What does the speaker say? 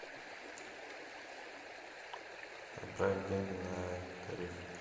отправь деньги на тариф